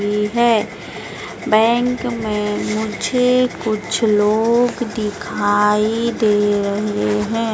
है बैंक में मुझे कुछ लोग दिखाई दे रहे हैं।